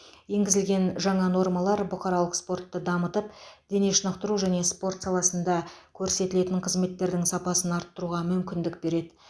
енгізілген жаңа нормалар бұқаралық спортты дамытып дене шынықтыру және спорт саласында көрсетілетін қызметтердің сапасын арттыруға мүмкіндік береді